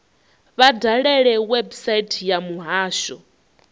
vha dalele website ya muhasho